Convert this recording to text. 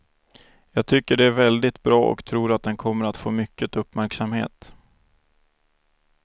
Jag tycker det är väldigt bra och tror att den kommer att få mycket uppmärksamhet.